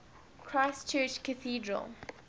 christ church cathedral